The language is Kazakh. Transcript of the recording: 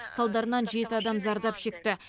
салдарынан жеті адам зардап шекті